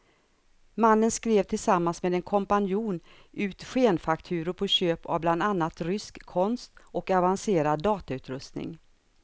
Mannen skrev tillsammans med en kompanjon ut skenfakturor på köp av bland annat rysk konst och avancerad datautrustning.